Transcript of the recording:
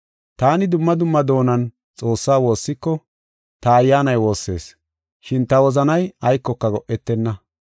Taani dumma dumma doonan Xoossaa woossiko, ta ayyaanay woossees, shin ta wozanay aykoka go7etenna.